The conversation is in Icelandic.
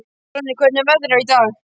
Fróðný, hvernig er veðrið í dag?